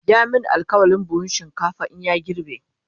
ya min alkawalin buhun shinkafa in ya girbe